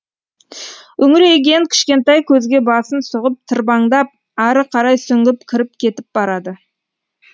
үңірейген кішкентай көзге басын сұғып тырбаңдап ары қарай сүңгіп кіріп кетіп барады